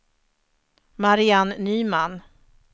Mariann Nyman